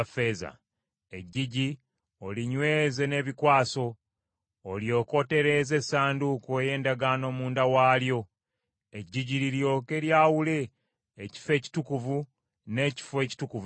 Eggigi olinyweze n’ebikwaso; olyoke otereeze Essanduuko ey’Endagaano munda waalyo. Eggigi liryoke lyawule Ekifo Ekitukuvu n’Ekifo Ekitukuvu Ennyo.